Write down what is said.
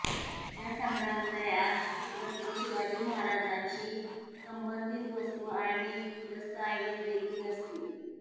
या संग्रहालयात छत्रपती शिवाजी महाराजांशी संबंधित वस्तू आणि दस्तऐवजदेखील असतील